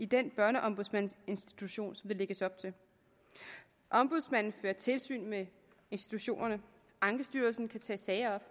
denne børneombudsmandsinstitution ombudsmanden fører tilsyn med institutionerne ankestyrelsen kan tage sager